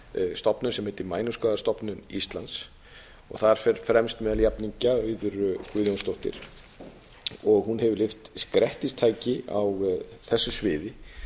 stofnun sem heitir mænuskaðastofnun íslands þar fer fremst meðal jafningja auður guðjónsdóttir hún hefur lyft grettistaki á þessu sviði